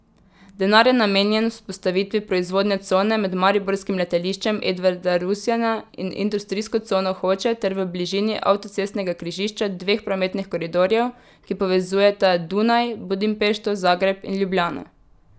Denar je namenjen vzpostavitvi proizvodne cone med mariborskim letališčem Edvarda Rusjana in industrijsko cono Hoče ter v bližini avtocestnega križišča dveh prometnih koridorjev, ki povezujeta Dunaj, Budimpešto, Zagreb in Ljubljano.